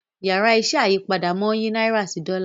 Yàrá iṣẹ́ ayípadà món yí náírà sí Dòla.